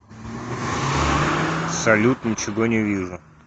салют ничего не вижу